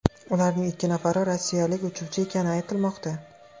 Ularning ikki nafari rossiyalik uchuvchi ekani aytilmoqda.